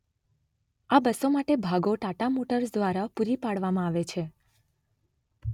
આ બસો માટે ભાગો ટાટા મોટર્સ દ્વારા પૂરી પાડવામાં આવે છે.